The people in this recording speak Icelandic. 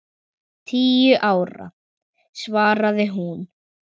Tíu ára, svaraði hún.